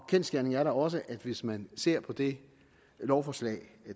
kendsgerningen er da også at hvis man ser på det lovforslag